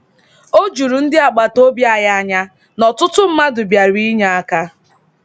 O juru ndị agbataobi anyị anya na ọtụtụ mmadụ bịara inye aka.